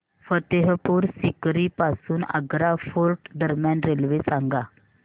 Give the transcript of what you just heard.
फतेहपुर सीकरी पासून आग्रा फोर्ट दरम्यान रेल्वे सांगा